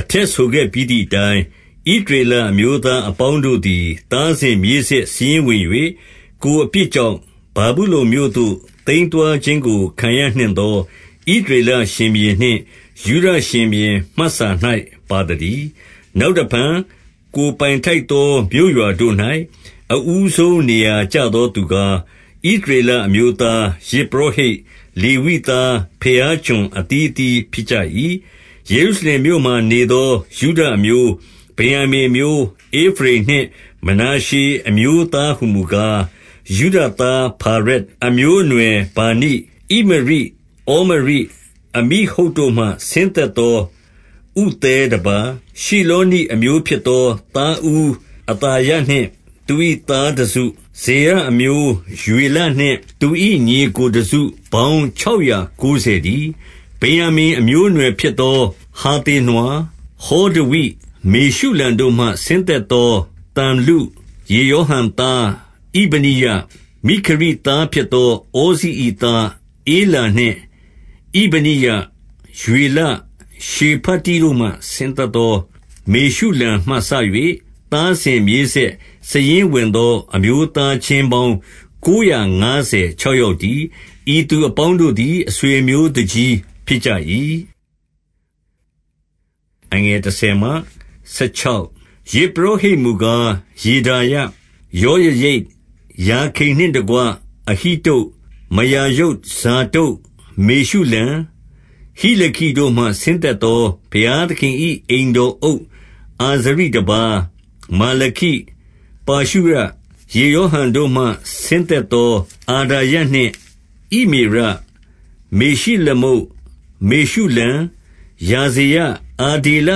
အထက်ဆိုခဲ့ပြီးသည်အတိုင်း၊ ဣသရေလ အမျိုးသားအပေါင်းတို့သည် သားစဉ်မြေးဆက်စာရင်း ဝင်၍၊ ကိုယ်အပြစ်ကြောင့် ဗာဗုလုန်မြို့ သို့သိမ်းသွားခြင်း ကို ခံရနှင့်သာ ဣသရေလရှင်ဘုရင်နှင့် ယုဒရှင်ဘုရင် မှတ်စာ၌ ပါသတည်း။ 2 နောက်တဖန်ကိုယ်ပိုင်ထိုက်သော မြို့ရွာတို့၌ အဦးဆုံး နေရာကျသောသူကား၊ ဣသရေလအမျိုးသား၊ ယဇ်ပုရောဟိတ်၊ လေဝိသား၊ ဘုရားကျွန်အသီးအသီး ဖြစ်ကြ၏။ 3 ယေရုရှလင်မြို့မှာနေသော ယုဒအမျိုး၊ ဗင်္ယာမိန် အမျိုး၊ ဧဖရိမ်နှင့် မနာရှေအမျိုးသားဟူမူကား၊ 4 ယုဒသား ဖာရက်အမျိုးအနွယ်၊ ဗာနိ၊ ဣမရိ၊ ဩမရိ၊ အမိဟုဒ်တို့မှ ဆင်းသက်သော ဥသဲတပါး၊ 5 ရှိလေနိအမျိုးဖြစ်သော သားဦးအသာယနှင့် သူ၏သားတစု၊ 6 ဇေရအမျိုးယွေလနှင့် သူ၏ညီအစ်ကိုတစု ပေါင်းခြောက်ရာ ကိုးဆယ်တည်း။ 7 ဗင်္ယာမိန်အမျိုးအနွယ်ဖြစ်သော ဟာသေနွာ၊ ဟောဒဝိ၊ မေရှုလံတို့မှ ဆင်းသက်သော သလ္လု၊ 8 ယေရောဟံသား ဣဗနိယ၊ မိခရိသားဖြစ်သော ဩဇိ၏သား ဧလာနှင့် ဣဗနိယ၊ ရွေလ၊ ရှေဖတိတို့မှ ဆင်းသက်သော မေရှုလံမှစ၍၊ 9 သားစဉ်မြေးဆက် စာရင်းဝင်သော အမျိုးသား ချင်းပေါင်းကိုးရာငါးဆယ်ခြောက်ယောက်တည်း။ ဤသူ အပေါင်းတို့သည် အဆွေအမျိုးသူကြီးဖြစ်ကြ၏။ 10 ယဇ်ပုရောဟိတ်မူကား ယေဒါယ၊ ယောယရိပ်၊ ယာခိန်နှင့်တကွ၊ 11 အဟိတုပ်၊ မရာယုတ်၊ ဇာဒုတ်၊ မေရှုလံ၊ ဟိလခိ တို့မှ ဆင်းသက်သော ဘုရားသခင်၏ အိမ်တော်အုပ် အာဇရိတပါး၊ 12 မာလခိ၊ ပါရှုရ၊ ယေရောဟံတို့မှ ဆင်းသက် သော အဒါယနှင့် ဣမေရ၊ မေရှိလမုတ်၊ မေရှုလံ၊ ယာဇေရ၊ အဒေလ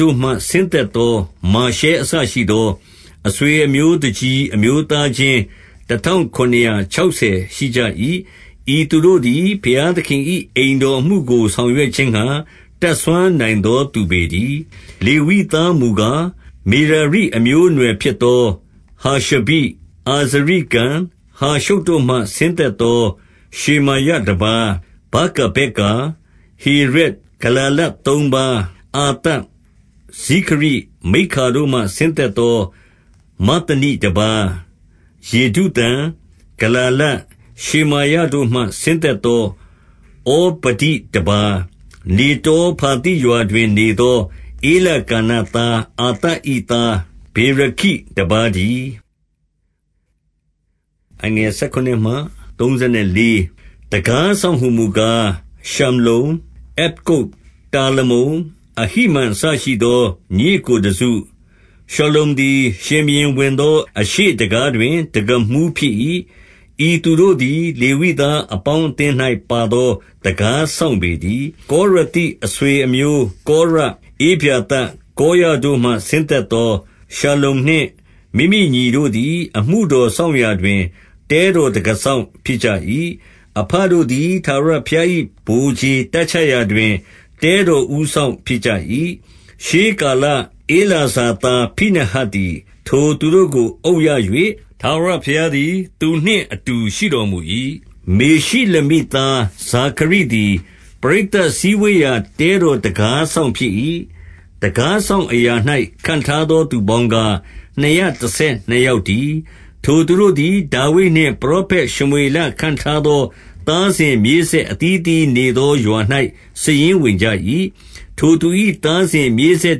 တို့မှ ဆင်းသက်သော မာရှဲအစ ရှိသော၊ 13 အဆွေအမျိုးသူကြီး အမျိုးသားချင်း တထောင် ခုနစ်ရာခြောက်ဆယ်ရှိကြ၏။ ဤသူတို့သည် ဘုရား သခင်၏ အိမ်တော်အမှုကိုဆောင်ရွက်ခြင်းငှါ တတ်စွမ်း နိုင်သောသူပေတည်း။ 14 လေဝိသားမူကား၊ မေရာရိ အမျိုးအနွယ်ဖြစ် သော ဟာရှဘိ၊ အာဇရိကံ၊ ဟာရှုပ်တို့မှ ဆင်းသက်သော ရှေမာရတပါး၊ 15 ဗာကဗက္ကာ၊ ဟေရက်၊ ဂလာလသုံးပါး၊ အာသပ်၊ ဇိခရိ၊ မိက္ခာတို့မှ ဆင်းသက်သော မဿနိတပါး၊ 16 ယေဒုသုံ၊ ဂလာလ၊ ရှေမာယတို့မှ ဆင်းသက် သော ဩဗဒိတပါး၊ နေတော ဖာသိရွာတို့တွင်နေသော ဧလကနသား အာသ၏သား ဗေရခိတပါးတည်း။ 17 တံခါးစောင့်မူကား ရှလ္လုံ့၊ အက္ကုပ်၊ တာလမုန်၊ အဟိမန်အစရှိသော ညီအစ်ကိုတစု၊ 18 ရှလ္လုံသည် ရှင်ဘုရင်ဝင်သော အရှေ့တံခါးတွင် တံခါးမှူးဖြစ်၏။ ဤသူတို့သည် လေဝိသားအပေါင်း အသင်း၌ပါသော တံခါးစောင့်ပေတည်း။ 19 ကောရသိ အဆွေအမျိုး၊ ကောရ၊ ဧဗျာသပ်၊ ကောရတို့မှ ဆင်းသက်သော ရှလ္လုံနှင့်မိမိညီတို့သည် အမှုတော်စောင့်ရာတွင် တဲတော်တံခါးစောင့်ဖြစ်ကြ၏။ အဘတို့သည် ထာဝရဘုရား၏ ဗိုလ်ခြေတပ်ချရာတွင် တဲတော်ဦးစောင့်ဖြစ်ကြ၏။ 20 ရှေးကာလဧလာဇာသား ဖိနဟတ်သည် ထိုသူတို့ ကိုအုပ်ရ၍၊ ထာဝရဘုရားသည် သူနှင့်အတူရှိတော်မူ၏။ 21 မေရှိလမိသား ဇာခရိသည် ပရိသတ်စည်းဝေး ရာ တဲတော်တံခါးစောင့်ဖြစ်၏။ 22 တံခါးစောင့်အရာ၌ ခန့်ထားသောသူပေါင်းကား နှစ်ရာတဆယ်နှစ်ယောက်တည်း။ ထိုသူတို့သည် ဒါဝိဒ်နှင့် ပရောဖက်ရှမွေလခန့်ထားသော သားစဉ်မြေးဆက်အသီး အသီးနေသော ရွာ၌စာရင်းဝင်ကြ၏။ 23 ထိုသူ၏ သားစဉ်မြေးဆက်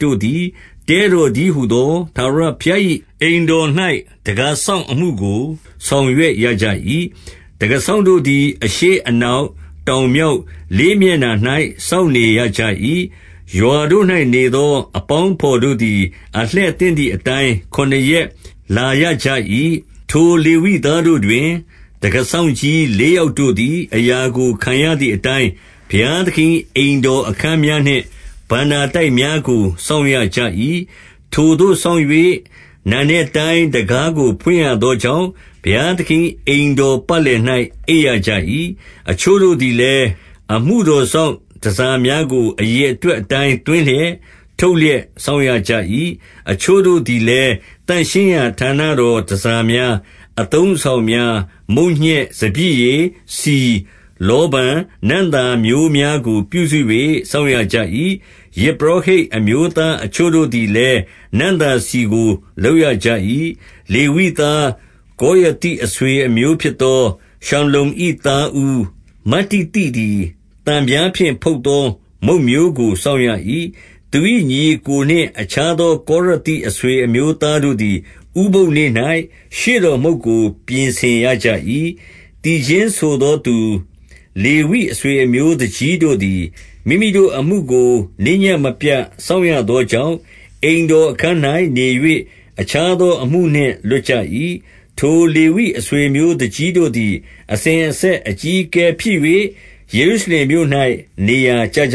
တို့သည် တဲတော်တည်းဟူသော ထာဝရဘုရား၏အိမ်တော်၌ တံခါးစောင့် အမှုကို ဆောင်ရွက်ရကြ၏။ 24 တံခါးစောင့်တို့သည် အရှေ့၊ အနောက်၊ တောင်၊ မြောက်၊ လေးမျက်နှာ ၌ စောင့်နေရကြ၏။ 25 ရွာတို့၌နေသော အပေါင်းအဘော်တို့သည် အလှည့်သင့်သည်အတိုင်း ခုနစ်ရက်၊ ခုနစ်ရက် လာရ ကြ၏။ 26 ထိုလေဝိသားတို့တွင် တံခါးစောင့်ကြီး လေး ယောက်တို့သည် အရာကိုခံရသည်အတိုင်း၊ ဘုရားသခင် ၏ အိမ်တော်အခန်းများနှင့် ဘဏ္ဍာတိုက်များကို စောင့်ရ ကြ၏။ 27 ထိုသို့စောင့်၍ နံနက်တိုင်းတံခါးကို ဖွင့်ရသော ကြောင့်၊ ဘုရားသခင်၏ အိမ်တော်ပတ်လည်၌ အိပ်ရ ကြ၏။ 28 အချို့တို့သည်လည်း၊ အမှုတော်စောင့်တန်ဆာ များကို အရေအတွက်အတိုင်း သွင်းလျက် ထုတ်လျက် စောင့်ကြရ၏။ 29 အချို့တို့သည်လည်း၊ သန့်ရှင်းရာဌာနတော် တန်ဆာများ၊ အသုံးအဆောင်များ၊ မုန့်ညက်၊ စပျစ်ရည်၊ ဆီ၊ လောဗန်၊ နံ့သာမျိုးများကို ပြုစု ၍စောင့်ရကြ၏။ 30 ယဇ်ပုရောဟိတ်အမျိုးသား အချို့တို့သည်လည်း နံ့သာဆီကို လုပ်ရကြ၏။ 31 လေဝိသား၊ ကောရသိအဆွေအမျိုးဖြစ်သော ရှလ္လုံ၏သားဦး မတ္တိသိသည် သံပြားဖြင့်ဖုတ်သော မုန့်မျိုး ကို စောင့်ရ၏။ 32 သူ၏ညီအစ်ကိုနှင့် အခြားသောကောရသိ အဆွေအမျိုးသားတို့သည် ဥပုသ်နေ့၌ ရှေ့တော်မုန့်ကို ပြင်ဆင်ရကြ၏။ 33 သီချင်းဆိုသော သူလေဝိအဆွေအမျိုး သူကြီးတို့ သည် မိမိတို့အမှုကို နေ့ညဉ့်မပြတ်စောင့်ရသောကြောင့်၊ အိမ်တော်အခန်း၌နေ၍ အခြားသောအမှုနှင့်လွတ်ကြ၏။ 34 ထိုလေဝိအဆွေအမျိုးသူကြီးတို့သည် အစဉ် အဆက်အကြီးအကဲဖြစ်၍ ယေရုရှလင်မြို့၌ နေရာ ကျကြ